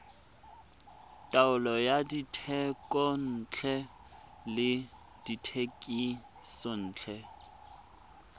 taolo ya dithekontle le dithekisontle